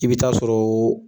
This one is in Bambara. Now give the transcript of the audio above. I bɛ taa sɔrɔ o.